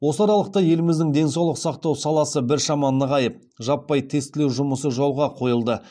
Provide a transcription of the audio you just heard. осы аралықта еліміздің денсаулық сақтау саласы біршама нығайып жаппай тестілеу жұмысы жолға қойылды